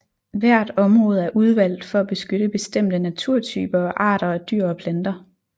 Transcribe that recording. Hvert område er udvalgt for at beskytte bestemte naturtyper og arter af dyr og planter